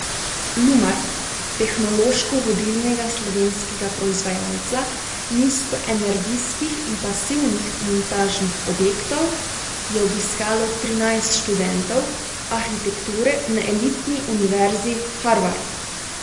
Lumar, tehnološko vodilnega slovenskega proizvajalca nizkoenergijskih in pasivnih montažnih objektov, je obiskalo trinajst študentov arhitekture na elitni Univerzi Harvard.